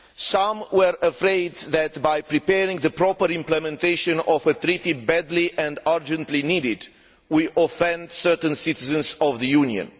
Some were afraid that by preparing the proper implementation of a treaty badly and urgently needed we might offend certain citizens of the Union.